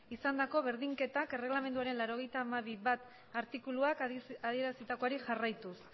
izandako berdinketak erregelamenduaren laurogeita hamabi puntu bat artikuluak adierazitakoari jarraituz